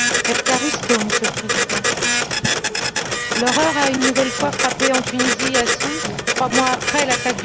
Monsieur le Président, l'horreur a une nouvelle fois frappé en Tunisie, à Sousse, trois mois après l'attaque du Bardo.